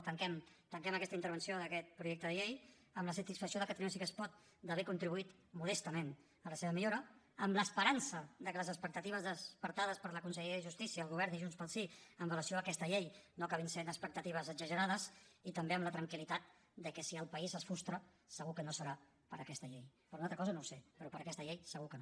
tanquem aquesta intervenció d’aquest projecte de llei amb la satisfacció de catalunya sí que es pot d’haver contribuït modestament a la seva millora amb l’esperança de que les expectatives despertades per la conselleria de justícia el govern i junts pel sí amb relació a aquesta llei no acabin sent expectatives exagerades i també amb la tranquil·litat de que si el país es frustra segur que no serà per aquesta llei per una altra cosa no ho sé però per aquesta llei segur que no